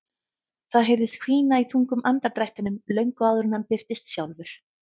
Það heyrðist hvína í þungum andardrættinum löngu áður en hann birtist sjálfur.